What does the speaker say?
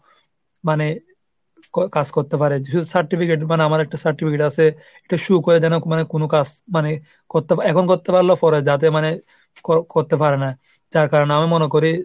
মানে ক~ কাজ করতে পারে। certificate মানে আমার একটা certificate আসে issue করা জনক কোন কাজ। মানে করতে পার~ এখন করতে পারলেও পরে যাতে মানে কর~ করতে পারে না। যার কারণে আমি মনে করি